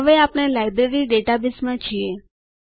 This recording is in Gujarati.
હવે આપણે લાઇબ્રેરી ડેટાબેઝમાં છીએ